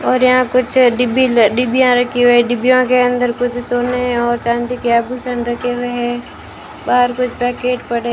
और यहां कुछ डिब्बी डिब्बियां रखी हुई हैं डिब्बियों के अंदर कुछ सोने और चांदी के आभूषण रखे हुए हैं बाहर कुछ पैकेट पड़े --